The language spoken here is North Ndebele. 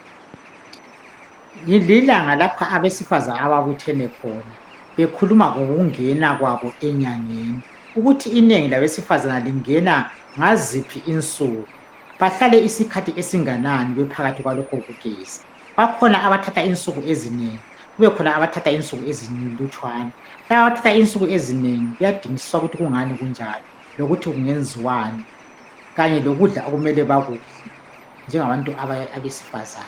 Lilanga lapha abasifazane ababuthene khona bekhuluma ngokungena kwaba enyangeni ukuthi inengi labesifazane lingena ngaziphi insuku behlale isikhathi esinganani bephakathi kwalokho kugezabakhona abathatha insuku ezinengi kubekhona abathatha insuku ezilutshwana laba abathatha insuku ezinengi kuyadingisiswa ukuthi kungani kunjalo lokuthi kungenziwani lokudla abamele bekudle bengabantu besifazane